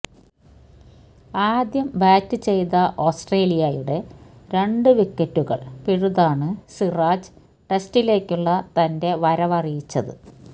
ആദ്യം ബാറ്റ് ചെയ്ത ഓസ്ട്രേലിയയുടെ രണ്ട് വിക്കറ്റുകള് പിഴുതാണ് സിറാജ് ടെസ്റ്റിലേക്കുള്ള തന്റെ വരവറിയിച്ചത്